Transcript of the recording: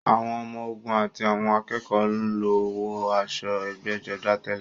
Àwọn ọmọ-ogun àti àwọn akẹ́kọ̀ọ́ ló ń wọ aṣọ ẹgbẹ́jọdá tẹ́lẹ̀.